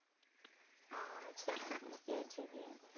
আচ্ছা এক year junior